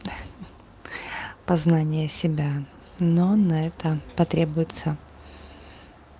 познание себя но на это потребуется